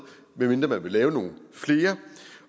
medmindre man vil lave nogle flere